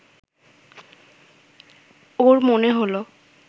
ওর মনে হল